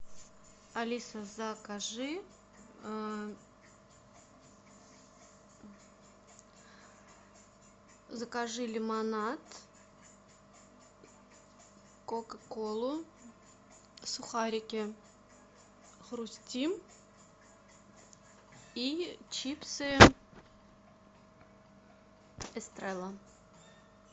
алиса закажи закажи лимонад кока колу сухарики хрустим и чипсы эстрелла